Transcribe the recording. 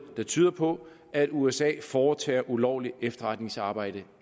der tyder på at usa foretager ulovligt efterretningsarbejde